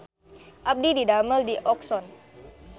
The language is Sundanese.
Abdi didamel di Oxone